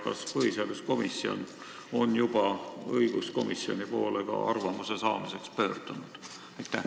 Kas põhiseaduskomisjon on juba õiguskomisjoni poole arvamuse saamiseks pöördunud?